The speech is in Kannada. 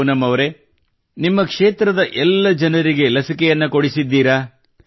ಪೂನಂ ಅವರೇ ನಿಮ್ಮ ಕ್ಷೇತ್ರದ ಎಲ್ಲ ಜನರಿಗೆ ಲಸಿಕೆಯನ್ನು ಕೊಡಿಸಿದ್ದೀರಾ